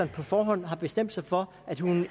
på forhånd har bestemt sig for